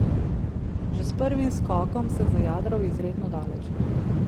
Že s prvim skokom sem zajadral izredno daleč.